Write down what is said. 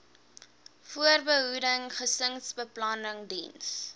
voorbehoeding gesinsbeplanning diens